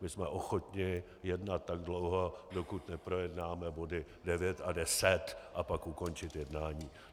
My jsme ochotni jednat tak dlouho, dokud neprojednáme body 9 a 10, a pak ukončit jednání.